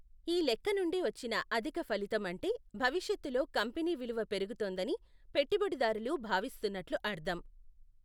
ఈ లెక్క నుండి వచ్చిన అధిక ఫలితం అంటే భవిష్యత్తులో కంపెనీ విలువ పెరుగుతుందని పెట్టుబడిదారులు భావిస్తున్నట్లు అర్ధం.